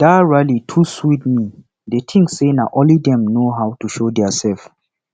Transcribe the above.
dat rally too sweet me dey think say na only dem no how to show their self